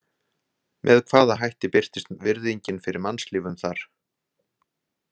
Með hvaða hætti birtist virðingin fyrir mannslífum þar?